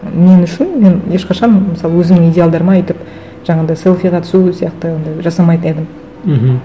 мен үшін мен ешқашан мысалы өзімнің идеалдарыма өйтіп жаңағындай селфиға түсу сияқты ондай жасамайтын едім мхм